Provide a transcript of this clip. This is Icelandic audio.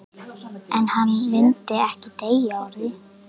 En hann myndi ekki deyja úr því.